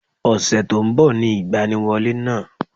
Ọ̀sẹ̀ tó nbọ̀ ni ìgbaniwọlé náà